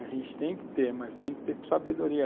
A gente tem que ter, mas tem que ter com sabedoria.